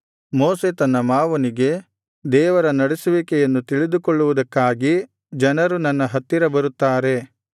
ಮೋಶೆ ತನ್ನ ಮಾವನಿಗೆ ದೇವರ ನಡೆಸುವಿಕೆಯನ್ನು ತಿಳಿದುಕೊಳ್ಳುವುದಕ್ಕಾಗಿ ಜನರು ನನ್ನ ಹತ್ತಿರ ಬರುತ್ತಾರೆ